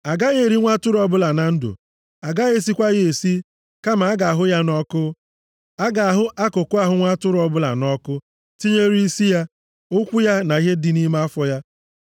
A gaghị eri nwa atụrụ ọbụla na ndụ, a gaghị esikwa ya esi, kama a ga-ahụ ya nʼọkụ. A ga-ahụ akụkụ ahụ nwa atụrụ ọbụla nʼọkụ, tinyere isi ya, ụkwụ ya na ihe dị nʼime afọ ya.